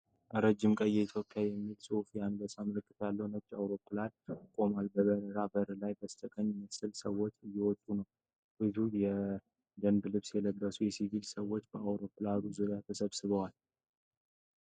ረጅም ቀይ “Ethiopian” የሚል ጽሑፍና የአንበሳ ምልክት ያለው ነጭ አውሮፕላን ቆሟል። በበረራው በር ላይ በተሰቀለ መሰላል ሰዎች እየወጡ ነው። ብዙ የደንብ ልብስ የለበሱና ሲቪል ሰዎች በአውሮፕላኑ ዙሪያ ተሰብስበዋል።